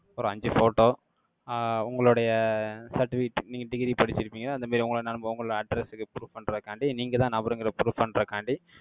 ஒரு அஞ்சு photo, ஆஹ் உங்களுடைய certificate, நீங்க degree படிச்சிருப்பீங்க, அந்த மாதிரி, உங்கள உங்க address க்கு proof பண்றதுக்காண்டி, நீங்கதான் நபருங்கிறதை, proof பண்றதுக்காண்டி,